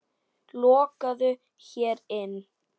Lokuðu hér inni.